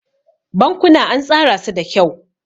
Bankuna an tsara su da kyau.